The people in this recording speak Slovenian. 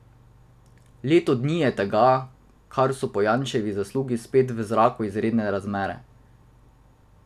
Leto dni je tega, kar so po Janševi zaslugi spet v zraku izredne volitve.